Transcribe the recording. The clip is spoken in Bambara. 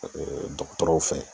dɔgɔtɔrɔw fɛ.